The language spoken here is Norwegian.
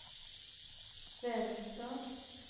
Vevelstad